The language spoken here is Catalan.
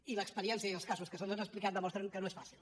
i l’experiència i els casos que se’ns han explicat demostren que no és fàcil